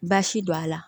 Baasi don a la